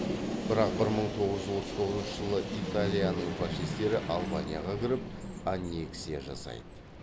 бірақ бір мың тоғыз жүз отыз тоғызыншы италияның фашистері албанияға кіріп аннексия жасайды